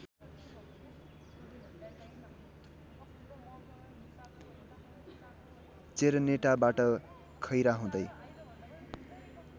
चेरनेटाबाट खैरा हुँदै